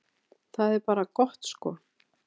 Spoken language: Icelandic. Það er bara gott sko.